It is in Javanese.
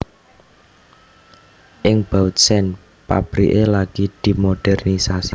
Ing Bautzen pabriké lagi dimodèrnisasi